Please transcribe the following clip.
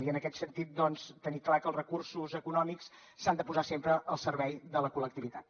i en aquest sentit doncs tenir clar que els recursos econòmics s’han de posar sempre al servei de la col·lectivitat